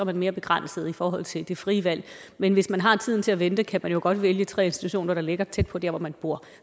man mere begrænset i forhold til det frie valg men hvis man har tiden til at vente kan man jo godt vælge tre institutioner der ligger tæt på der hvor man bor